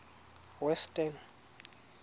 western